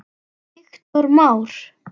Viktor Már.